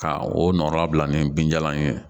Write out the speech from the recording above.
Ka o nɔnɔ bila ni binjalan in ye